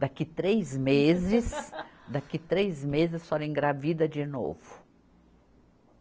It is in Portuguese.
Daqui três meses, daqui três meses a senhora engravida de novo.